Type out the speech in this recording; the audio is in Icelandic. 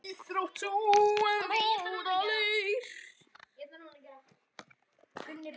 Íþrótt sú að móta leir.